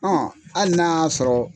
hali n'a y'a sɔrɔ